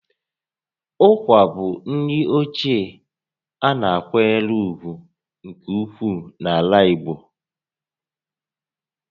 Ụkwa bụ nri ochie a na-akwanyere ùgwù nke ukwuu n'ala Igbo